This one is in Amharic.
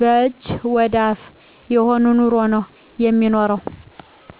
ከእጅ ወደ አፍ የሆነ ኑሮ ነው የሚኖረው።